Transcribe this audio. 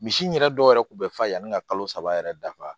Misi in yɛrɛ dɔw yɛrɛ kun bɛ fa ye yanni ka kalo saba yɛrɛ dafa